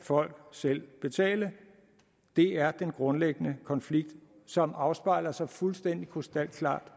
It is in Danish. folk selv betale det er den grundlæggende konflikt som afspejler sig fuldstændig krystalklart